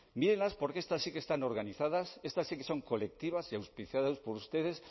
mírenlas porque estas sí que están organizadas estas sí que son colectivas y auspiciadas por ustedes